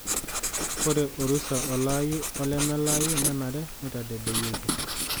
Ore orusa olaayu olemelaaayu nenare neitadedeyieki.